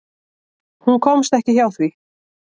Hún komst ekki hjá því.